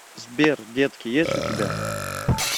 сбер детки есть у тебя